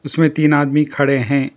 इसमें तीन आदमी खड़े हैं।